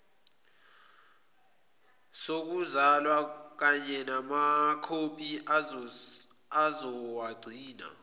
sokuzalwa kanyenamakhophi esizowagcina